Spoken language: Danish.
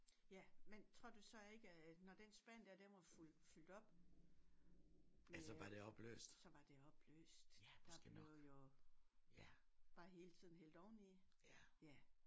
Ja men tror du så ikke at når den spand der den var fyldt op med øh så var det opløst ja der blev jo bare hele tiden hældt oven i ja